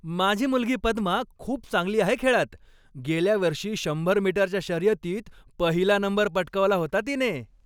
माझी मुलगी पद्मा खूप चांगली आहे खेळात. गेल्या वर्षी शंभर मीटरच्या शर्यतीत पहिला नंबर पटकावला होता तिने.